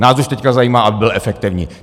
Nás už teď zajímá, aby byl efektivní.